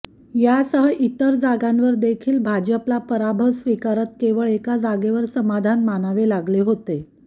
यासह इतर जागांवर देखील भाजपला पराभव स्वीकारत केवळ एका जागेवर समाधान मानावे लागले होते